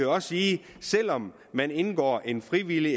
også sige at selv om man indgår en frivillig